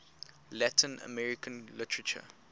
latin american literature